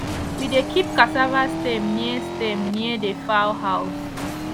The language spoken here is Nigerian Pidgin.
we dey keep cassava stem near stem near the fowl house